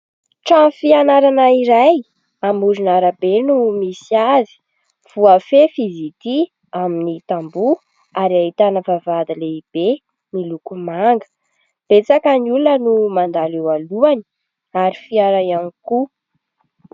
Trano fianarana iray amoron'arabe no misy azy, voafefy izy ity amin'ny tamboho ary ahitana vavahady lehibe miloko manga, betsaka ny olona no mandalo eo alohany ary fiara ihany koa.